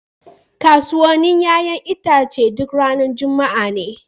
Kasuwannin 'ƴa'ƴan itace duk ranar Juma'a ne.